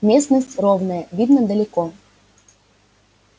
местность ровная видно далеко